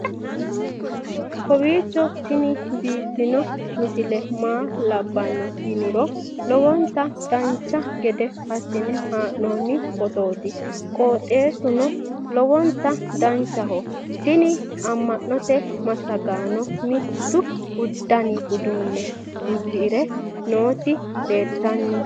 kowiicho tini biiffanno misile maa labbanno yiniro lowonta dancha gede assine haa'noonni foototi qoxeessuno lowonta danachaho. tini amma'note massagaano mittu dani udunne uddire nooti leltanni nooe